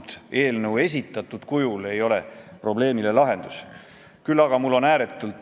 Aga miks me ei räägi näiteks liiklustrahvide puhul sellest, et väiksema sissetulekuga autojuht läheb pankrotti, kui me teeme talle trahvi?